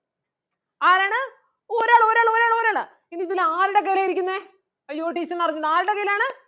ആരാണ് ഒരാള് ഒരാള് ഒരാള് ഒരാളെ ഇനി ഇതിൽ ആരുടെ കയ്യിലാ ഇരിക്കുന്നേ അയ്യോ teacher ന് അറിഞ്ഞുട ആരുടെ കയ്യിലാണ്